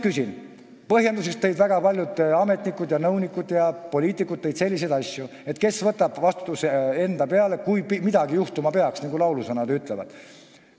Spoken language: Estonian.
Sulgemise põhjendusena tõid väga paljud ametnikud, nõunikud ja poliitikud selliseid asju, et kes võtab vastutuse enda peale, kui midagi juhtuma peaks, nagu laulusõnad ütlevad.